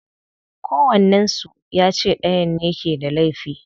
Kowannen su ya ce dayan ne ke da laifi.